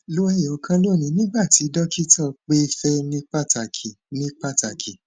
lo eyokan loni nigba ti dokita pe fe ni pataki ni pataki